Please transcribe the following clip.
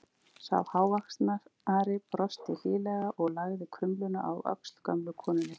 Sá hávaxnari brosti hlýlega og lagði krumluna á öxl gömlu konunni.